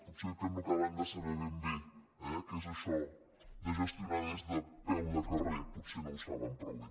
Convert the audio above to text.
potser és que no acaben de saber ben bé eh què és això de gestionar des de peu de carrer potser no ho saben prou bé